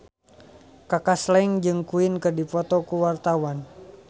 Kaka Slank jeung Queen keur dipoto ku wartawan